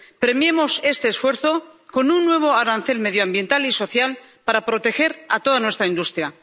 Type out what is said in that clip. Premiemos este esfuerzo con un nuevo arancel medioambiental y social para proteger a toda nuestra industria.